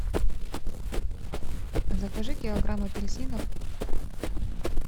закажи килограмм апельсинов